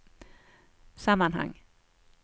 sammanhang